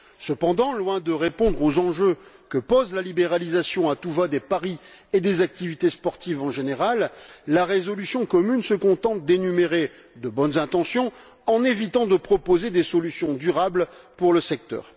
Cependant, loin de répondre aux enjeux que pose la libéralisation à tout va des paris et des activités sportives, en général, la résolution commune se contente d'énumérer de bonnes intentions en évitant de proposer des solutions durables pour le secteur.